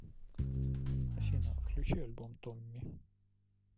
афина включи альбом томми